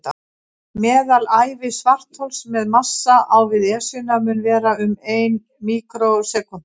Meðalævi svarthols með massa á við Esjuna mun vera um ein míkrósekúnda.